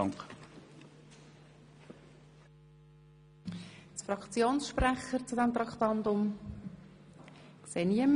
Es haben sich keine Fraktionssprecherinnen und -sprecher gemeldet.